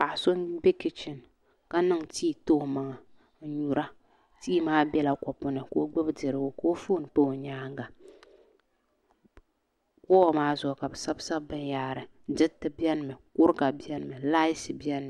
Paɣa so n bɛ kichin ka niŋ tii ti o maŋa n nyura tii maa bɛla kopu ni ka o gbubi dirigu ka o foon pa o nyaanga woo maa zuɣu ka bi sabisabi binyahari diriti biɛni kuriga biɛni mi laati biɛni mi